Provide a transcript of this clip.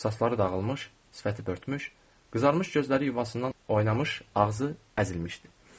Saçları dağılmış, sifəti börtmüş, qızarmış gözləri yuvasından oynamış, ağzı əzilmişdi.